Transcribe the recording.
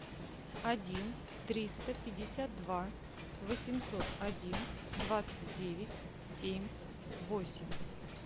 один триста пятьдесят два восемьсот один двадцать девять семь восемь